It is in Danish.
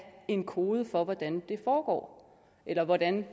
en kode for hvordan det foregår eller hvordan